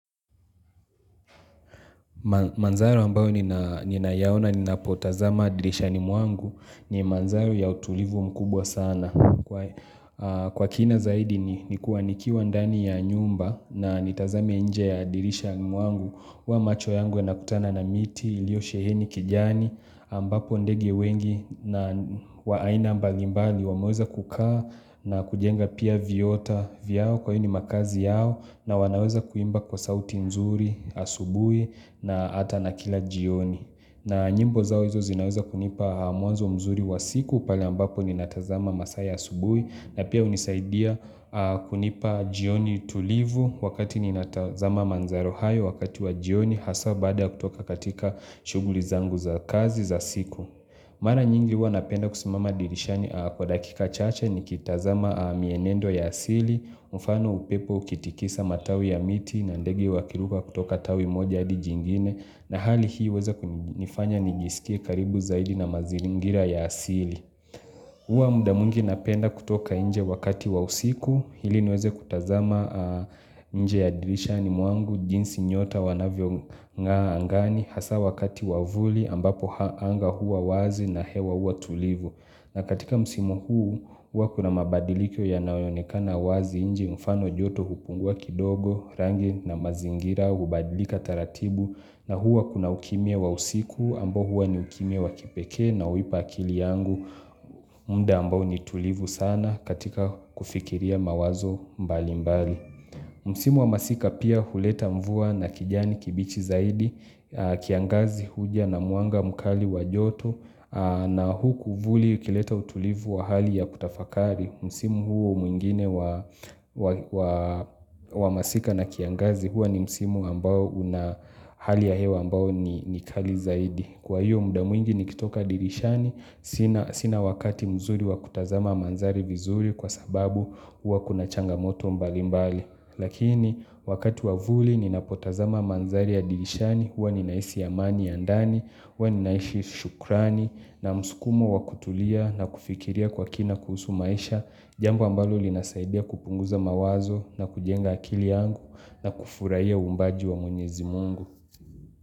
Manzara ambayo ni ninayoyaona ninapotazama dirishani mwangu ni manzari ya utulivu mkubwa sana kwa aaaaa Kwa kina zaidi ni kuwa nikiwa ndani ya nyumba na nitazame nje ya dirishani mwangu huwa macho yangu yanakutana na miti, iliyosheheni kijani, ambapo ndege wengi na waaina mbalimbali wamaweza kukaa na kujenga pia viota vyao kwa hiyo makazi yao na wanaweza kuimba kwa sauti nzuri asubui na hata na kila jioni na nyimbo zao hizo zinaweza kunipa mwanzo mzuri wa siku! Pale ambapo ninatazama masaa asubuhi na pia hunisaidia aaa kunipa jioni tulivu wakati ninata zama manzaro hayo wakati wa jioni hasaa baada kutoka katika shuguli zangu za kazi za siku. Mara nyingi huwa napenda kusimama dirishani kwa dakika chache ni kitazama mienendo ya asili, mfano upepo ukitikisa matawi ya miti na ndegi wakiruka kutoka tawi moja hadi jingine na hali hii huweza kunifanya nijisikie karibu zaidi na mazilingira ya asili. Huwa muda mwingi napenda kutoka nje wakati wa usiku, ili niweze kutazama aaaa nje ya dirishani mwangu, jinsi nyota wanavyongaa angani, hasaa wakati wauvuli ambapo ha anga hua wazi na hewa huwa tulivu. Na katika msimu huu hua kuna mabadiliko yanaoyonekana wazi nje mfano joto hupungua kidogo rangi na mazingira hubadilika taratibu na hua kuna ukimia wa usiku ambao huwa ni ukimia wa kipekee na huipa akili yangu mda ambao ni tulivu sana katika kufikiria mawazo mbali mbali. Msimu wa masika pia huleta mvua na kijani kibichi zaidi, aaaa kiangazi huja na mwanga mkali wa joto aaa na huku vuli ikileta utulivu wa hali ya kutafakari. Msimu huo mwingine wa wa wa wa masika na kiangazi huwa ni msimu ambao una hali ya hewa ambayo ni kali zaidi. Kwa hiyo muda mwingi nikitoka dirishani, sina sina wakati mzuri wa kutazama manzari vizuri kwa sababu hua kuna changamoto mbali mbali. Lakini wakati wa vuli ninapotazama manzari ya dirishani, huwa ninahisi amani ya ndani, huwa ninaishi shukrani, na msukumo wakutulia na kufikiria kwa kina kuhusu maisha, jambo ambalo linasaidia kupunguza mawazo na kujenga akili yangu na kufurahia uumbaji wa mwenyezi mungu.